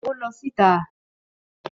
Ó lọ sí ìta